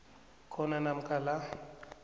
khona namkha la